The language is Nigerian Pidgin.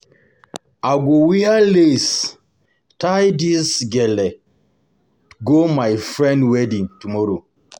I go wear lace, tie dis gele go my friend wedding tomorrow.